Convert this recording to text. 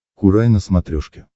курай на смотрешке